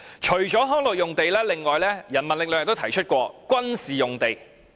除了康樂用地，人民力量亦曾提出取回軍事用地。